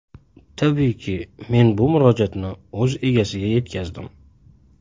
Tabiiyki, men bu murojaatni o‘z egasiga yetkazdim.